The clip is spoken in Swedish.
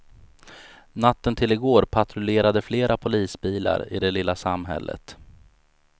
Natten till i går patrullerade flera polisbilar i det lilla samhället.